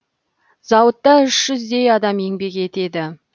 зауытта үш жүздей адам еңбек етеді